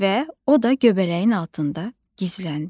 Və o da göbələyin altında gizləndi.